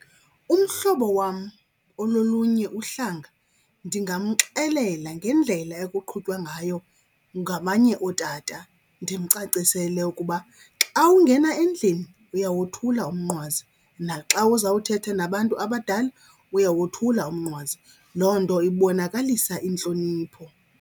Umhlobo wam ololunye uhlanga ndingamxelela ngendlela ekuqhutywa ngayo ngamanye ootata. Ndimcacisele ukuba xa ungena endlini uyawothula umnqwazi, naxa uzawuthetha nabantu abadala uyawothula umnqwazi. Loo nto ibonakalisa intlonipho.